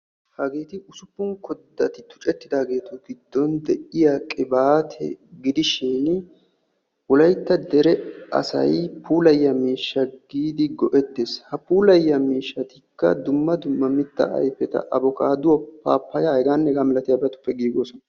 Hageetti ussuppun koddattun tuccettiddagetti giddon de'iyaage qibatte gidishin wolaytta puula miishsha miishshatta giidi go'ettees.